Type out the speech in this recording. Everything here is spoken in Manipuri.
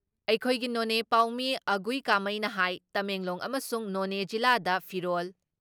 ꯑꯩꯈꯣꯏꯒꯤ ꯅꯣꯅꯦ ꯄꯥꯎꯃꯤ ꯑꯒꯨꯏ ꯀꯥꯃꯩꯅ ꯍꯥꯏ ꯇꯃꯦꯡꯂꯣꯡ ꯑꯝꯁꯨꯡ ꯅꯣꯅꯦ ꯖꯤꯂꯥꯗ ꯐꯤꯔꯣꯜ,